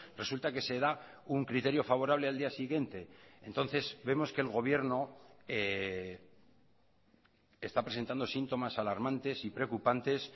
resulta que se da un criterio favorable al día siguiente entonces vemos que el gobierno está presentando síntomas alarmantes y preocupantes